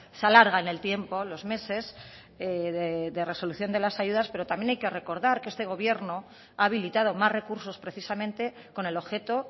se alarga en el tiempo los meses de resolución de las ayudas pero también hay que recordar que este gobierno ha habilitado más recursos precisamente con el objeto